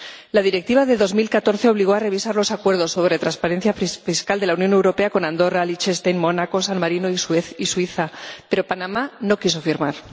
La Directiva de 2014 obligó a revisar los acuerdos sobre transparencia fiscal de la Unión Europea con Andorra, Liechtenstein, Mónaco, San Marino y Suiza, pero Panamá no quiso firmar.